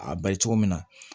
A ba ye cogo min na